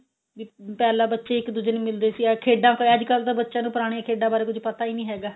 ਵੀ ਪਹਿਲਾਂ ਬੱਚੇ ਇੱਕ ਦੂਜੇ ਨੂੰ ਮਿਲਦੇ ਸੀ ਖੇਡਾਂ ਹੋਇਆ ਅੱਜਕਲ ਤਾਂ ਬੱਚਿਆ ਨੂੰ ਪੁਰਾਣੀਆਂ ਖੇਡਾਂ ਬਾਰੇ ਪਤਾ ਈ ਨਹੀਂ ਹੈਗਾ